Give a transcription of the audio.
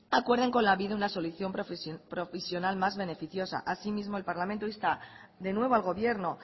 acuerden con lanbide una solución provisional más beneficiosa asimismo el parlamento insta de nuevo al gobierno